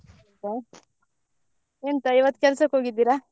ಹೌದಾ ಎಂತ ಇವತ್ತು ಕೆಲ್ಸಕ್ ಹೋಗಿದ್ದೀರಾ ?